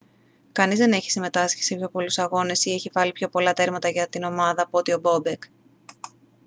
κανείς δεν έχει συμμετάσχει σε πιο πολλούς αγώνες ή έχει βάλει πιο πολλά τέρματα για την ομάδα από ότι ο μπόμπεκ